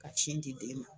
Ka sin di den ma